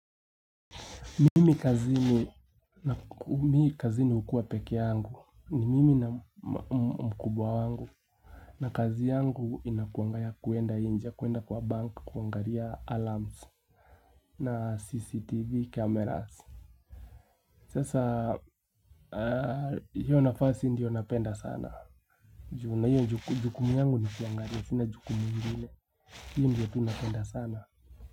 Mimi kazini hukua pekee yangu ni mimi na mkubwa wangu na kazi yangu inakuanga kwenda inje kwenda kwa bank kuangalia alarms na CCTV cameras Sasa hiyo nafasi ndiyo napenda sana na hiyo jukumu yangu nikuangalia sina jukumu ingine Hii ndiyo napenda sana.